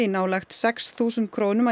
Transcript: nálægt sex þúsund krónum að